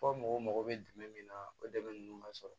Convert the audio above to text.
Fɔ mɔgɔw mago bɛ jumɛn min na o dɛmɛ ninnu ma sɔrɔ